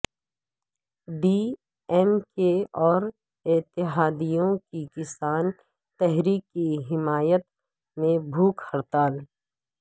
D M K اور اتحادیوں کی کسان تحریک کی حمایت میں بھوک ہڑتال